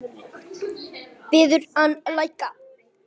Biður hann að lækka.